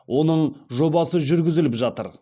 оның жобасы жүргізіліп жатыр